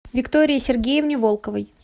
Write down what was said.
виктории сергеевне волковой